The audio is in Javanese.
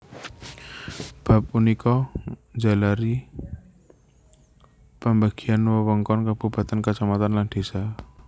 Bab punika njalari pambagian wewengkon kabupatèn kacamatan lan désa